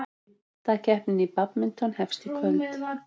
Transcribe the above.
Deildakeppnin í badminton hefst í kvöld